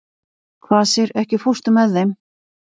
Kvasir, ekki fórstu með þeim?